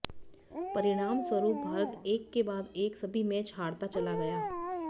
परिणामस्वरूप भारत एक के बाद एक सभी मैच हारता चला गया